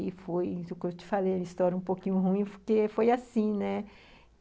E foi isso que eu te falei, uma história um pouquinho ruim, porque foi assim, né?